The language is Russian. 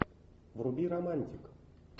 вруби романтик